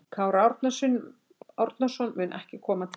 Kári Árnason mun ekki koma til okkar.